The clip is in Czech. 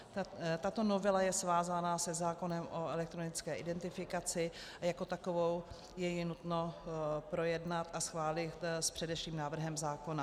Tato novela je svázána se zákonem o elektronické identifikaci a jako takovou je ji nutno projednat a schválit s předešlým návrhem zákona.